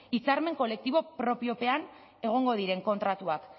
hitzarmen kolektibo propiopean egongo diren kontratuak